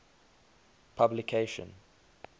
publication